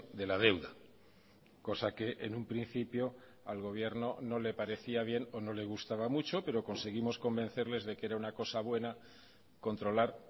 de la deuda cosa que en un principio al gobierno no le parecía bien o no le gustaba mucho pero conseguimos convencerles de que era una cosa buena controlar